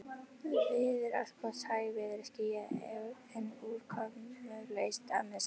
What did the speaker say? Veður allgott hægviðri, skýjað, en úrkomulaust að mestu.